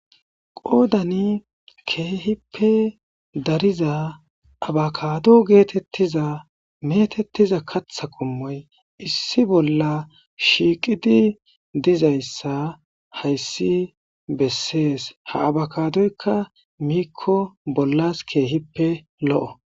Qoodani keehipe dariza abakado geetetiza kaththa qommoy issippe shiiqidi dizaysa hayssi beesees. Ha abakadoyka miiko bollas keehipe lo'o.